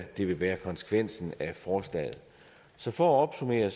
det vil være konsekvensen af forslaget så for at opsummere